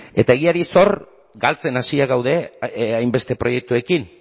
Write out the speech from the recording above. eta egiari zor galtzen hasiak gaude hainbeste proiektuekin